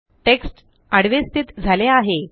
text आडवे स्थित झाला आहे